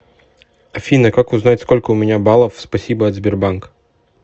афина как узнать сколько у меня баллов спасибо от сбербанк